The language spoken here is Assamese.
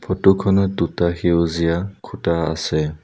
ফটো খনত দুটা সেউজীয়া খুঁটা আছে।